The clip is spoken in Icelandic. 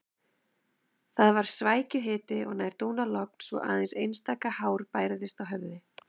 Það var svækjuhiti og nær dúnalogn svo aðeins einstaka hár bærðist á höfði.